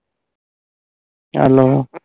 Hello